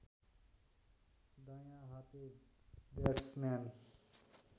दायाँ हाते ब्याट्सम्यान